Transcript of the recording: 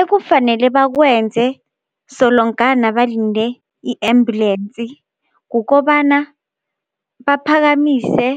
Ekufanele bakwenze solongana balinde i-ambulensi kukobana baphakamise